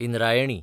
Indrayani